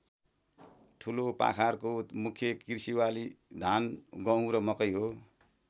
ठुलोपाखारको मुख्य कृषिबाली धान गुहँ र मकै हो।